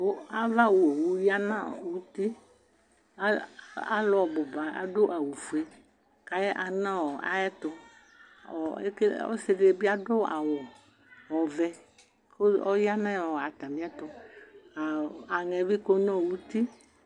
Ava owʋ yanʋ uti alʋ ɔbʋba adʋ awʋfue kʋ ayanʋ ayʋ ɛtʋ ɔsidi bi adʋ awʋ ɔvɛ kʋ ɔyanʋ atami ɛtʋ aŋɛbi kɔnʋ ʋtie